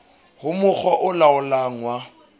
ho mokga o laolang wa